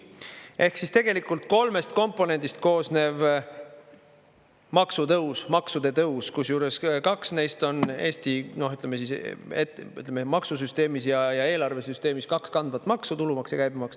Ehk siis tegelikult kolmest komponendist koosnev maksutõus, maksude tõus, kusjuures kaks neist on Eesti, ütleme, maksusüsteemis ja eelarvesüsteemis kaks kandvat maksu, tulumaks ja käibemaks.